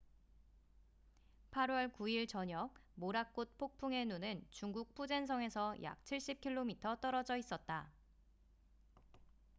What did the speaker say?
8월 9일 저녁 모라꼿 폭풍의 눈은 중국 푸젠성에서 약 70km 떨어져 있었다